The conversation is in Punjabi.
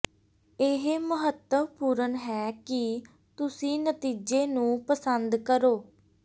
ਇਹ ਮਹੱਤਵਪੂਰਨ ਹੈ ਕਿ ਤੁਸੀਂ ਨਤੀਜੇ ਨੂੰ ਪਸੰਦ ਕਰੋ